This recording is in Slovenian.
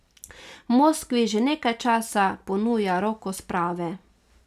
Moskvi že nekaj časa ponuja roko sprave.